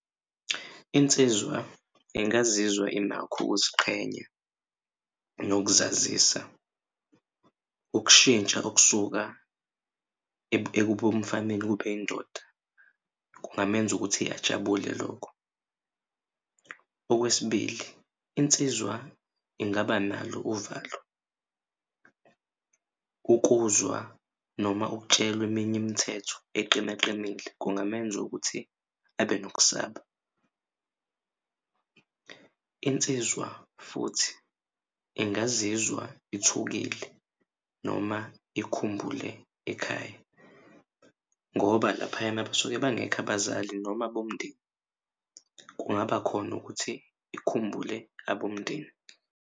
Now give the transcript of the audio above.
Insizwa ingazizwa inakho ukuziqhenya nokuzazisa ukushintsha okusuka ebumfaneni kube indoda kungamenza ukuthi ajabule lokho. Okwesibili, insizwa ingaba nalo uvalo ukuzwa noma ukutshelwa eminye imithetho eqinaqinile kungamenza ukuthi abe nokusaba. Insizwa futhi ingazizwa ithuthukile noma ikhumbule ekhaya ngoba laphayana basuke bangekho abazali noma abomndeni kungaba khona ukuthi ikhumbule abomndeni.